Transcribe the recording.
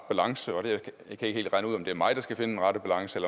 balance og jeg kan ikke helt regne ud om det er mig der skal finde den rette balance